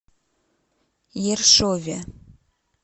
ершове